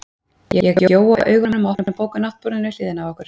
Ég gjóa augunum á opna bók á náttborðinu við hliðina á okkur.